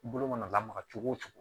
I bolo mana lamaga cogo o cogo